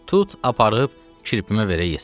Tut aparıb kirpimə verə yesin.